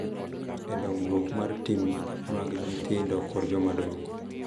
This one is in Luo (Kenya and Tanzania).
E dongruok mar tim mag nyithindo kod jomadongo.